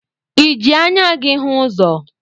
I jị anya gi hụ ụzọ?